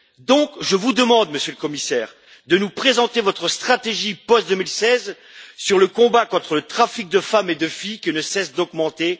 Par conséquent, je vous demande, Monsieur le Commissaire, de nous présenter votre stratégie post 2016 sur le combat contre le trafic de femmes et de filles, qui ne cesse d'augmenter.